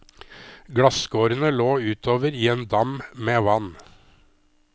Glasskårene lå utover i en dam med vann.